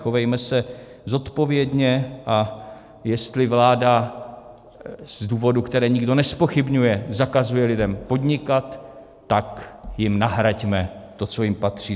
Chovejme se zodpovědně, a jestli vláda z důvodů, které nikdo nezpochybňuje, zakazuje lidem podnikat, tak jim nahraďme to, co jim patří.